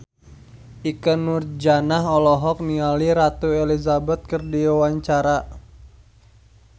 Ikke Nurjanah olohok ningali Ratu Elizabeth keur diwawancara